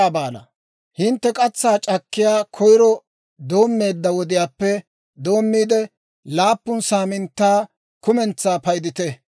«Hintte katsaa c'akkanaw koyiro doommeedda wodiyaappe doommiide, laappun saaminttaa kumentsaa paydite.